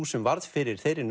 sem varð fyrir þeirri